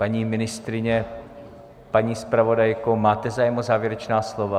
Paní ministryně, paní zpravodajko, máte zájem o závěrečná slova?